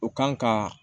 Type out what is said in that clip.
U kan ka